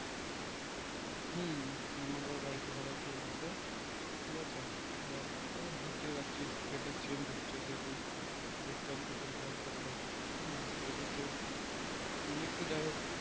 হুম আমাদের বাড়িতেও সবাই ঠিক আছে ঠিক আছে এই বুজতে তো পারছিস weather change হচ্ছে যেহেতু একটু আধটু শরীর খারাপ করবে হুম সেদিকে নিয়ে একটু জ্বর